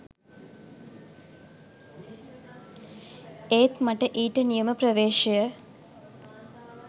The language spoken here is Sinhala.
ඒත් මට ඊට නියම ප්‍රවේශය